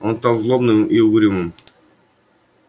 он стал злобным и угрюмым